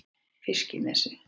Fiskinesi